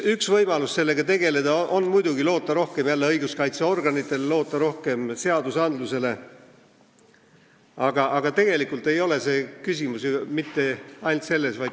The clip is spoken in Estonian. Üks võimalusi sellega tegeleda on muidugi rohkem loota jälle õiguskaitseorganitele, loota rohkem seadusandlusele, aga küsimus ei ole mitte ainult selles.